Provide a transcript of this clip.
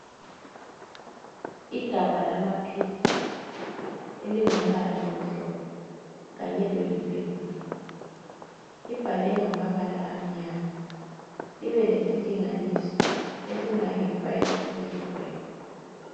Igabha lamaphilisi elingumbala omhlophe kanye loyi purple. Libhalwe ngamabala amnyama, libe lesilinganiso esingange 5 milligrams.